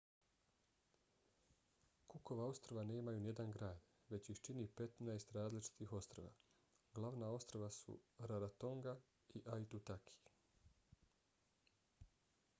cookova ostrva nemaju nijedan grad već ih čini 15 različitih ostrva. glavna ostrva su rarotonga i aitutaki